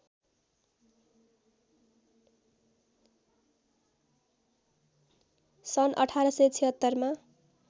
सन्‌ १८७६मा